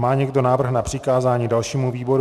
Má někdo návrh na přikázání dalšímu výboru?